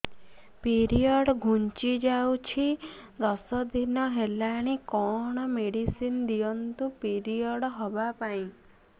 period ଘୁଞ୍ଚି ଯାଇଛି ଦଶ ଦିନ ହେଲାଣି କଅଣ ମେଡିସିନ ଦିଅନ୍ତୁ ପିରିଅଡ଼ ହଵା ପାଈଁ